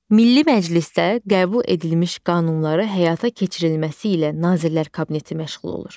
Milli Məclisdə qəbul edilmiş qanunları həyata keçirilməsi ilə Nazirlər Kabineti məşğul olur.